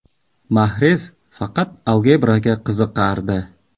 Mahrez faqat algebraga qiziqardi.